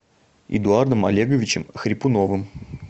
эдуардом олеговичем хрипуновым